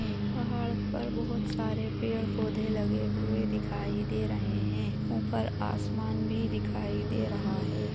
पहाड़ पर बहोत सारे पेड़-पौधे लगे हुए दिखाई दे रहे हैं ऊपर आसमान भी दिखाई दे रहा है।